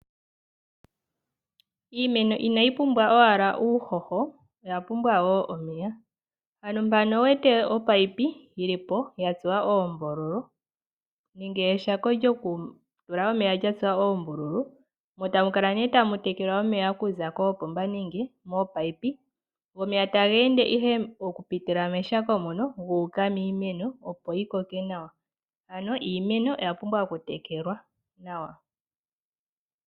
Iimeno inayi pumbwa owala uuhoho, oya pumbwa woomeya. Ohaya longitha ominino dha tsuwa oombululu nenge eshako lyokutulwa omeya lya tsuwa oombululu, mo tamu kala nee tamu tekelwa omeya okuza koopomba nenge mominino, go omeya taga ende ihe okupitila meshako mono gu uka miimeno, opo yi koke nawa. Ano iimeno oya pumbwa okutekelwa nawa.